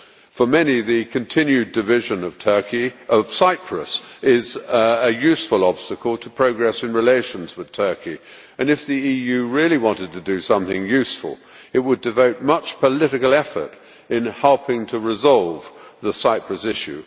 For many, the continued division of Cyprus is a useful obstacle to progress in relations with Turkey, and if the EU really wanted to do something useful it would devote much political effort to helping to resolve the Cyprus issue.